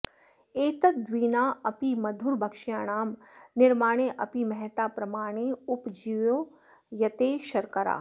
एतद्विना अपि मधुरभक्ष्याणां निर्माणे अपि महता प्रमाणेन उपयुज्यते शर्करा